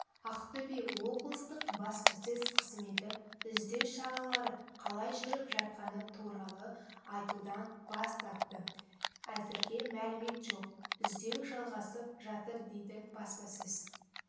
ақтөбе облыстық баспасөз қызметі іздеу шаралары қалай жүріп жатқаны туралы айтудан бас тартты әзірге мәлімет жоқ іздеу жалғасып жатыр деді баспасөз